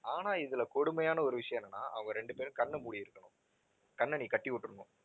ஆனா இதுல கொடுமையான ஒரு விஷயம் என்னன்னா அவங்க ரெண்டு பேரும் கண்ணை மூடி இருக்கணும். கண்ணை நீ கட்டி விட்டுடனும்.